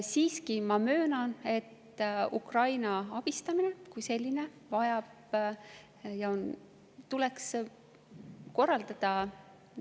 Siiski ma möönan, et Ukraina abistamine kui selline vajab täiskogus eraldi arutelu ja see tuleks korraldada.